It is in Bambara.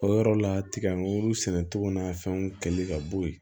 O yɔrɔ la tigɛmuru sɛnɛ cogo n'a fɛnw kɛli ka bɔ ye